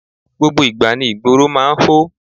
Gbogbo ìgbà ni ìgboro máa ń hó.